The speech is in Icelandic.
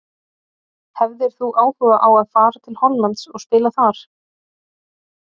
Hefðir þú áhuga á að fara til Hollands og spila þar?